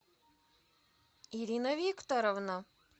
ирина викторовна